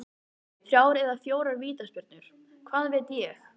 Þrjár eða fjórar vítaspyrnur, hvað veit ég?